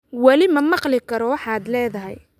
Weli ma maqli karo waxaad leedahay